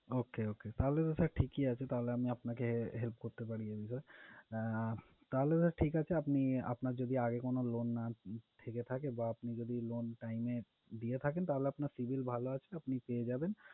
Okay, okay, তাহলে তো sir ঠিকই আছে, তাহলে আমি আপনাকে help করতে পারি । আহ তাহলে sir ঠিক আপনি আপনার যদি আগে কোনো loan না থেকে বা আপনি যদি loan time এ দিয়ে থাকেন, তাহলে আপনার civil ভালো আছে, আপনি পেয়ে যাবেন।